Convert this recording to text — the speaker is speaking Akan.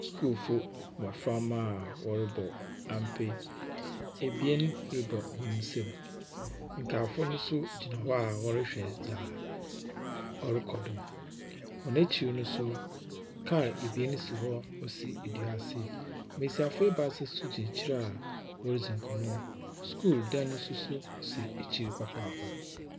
Sukuufoɔ mmɔframma a wɔrebɔ ampe. Ebien rebɔ hɔn nsam. Nkaafo no nso gyina hɔ a wɔrehwɛ dzea ɔrokɔ do. Wɔn ekyir no nso, kaa ebien si hɔ ɔsi dua ase. Mbesiafo ebaasa nso gyina ekyir a woridzi mkɔmbɔ. Skul dan nso so si ekyir papaapa.